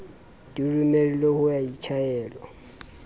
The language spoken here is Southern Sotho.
di romelwe ho ya tjhaelwa